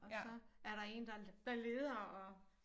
Og så er der én der der leder og